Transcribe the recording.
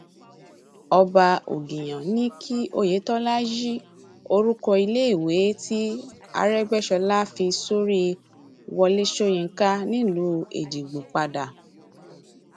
ọba ògìyàn ní kí oyetola yí orúkọ iléèwé tí arẹgbẹsọlá fi sórí wọlé sọyìnkà nílùú èjìgbò padà